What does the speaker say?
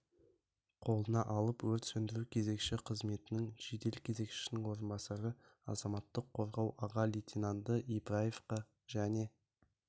қолына алып өрт сөндіру кезекші қызметінің жедел кезекшісінің орынбасары азаматтық қорғау аға лейтенанты ибраевқа және